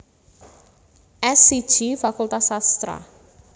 S siji Fakultas Sastra